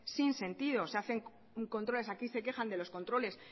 sin sentido aquí se quejan de los controles